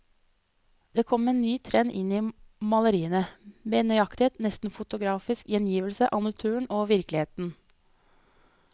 Det kom en ny trend inn i maleriene, med nøyaktig, nesten fotografisk gjengivelse av naturen og virkeligheten.